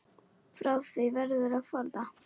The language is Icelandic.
Frá því verður að forða.